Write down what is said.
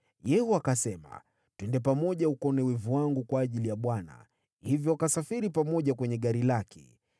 Yehu akasema, “Twende pamoja ukaone wivu wangu kwa ajili ya Bwana .” Hivyo wakasafiri pamoja kwenye gari lake.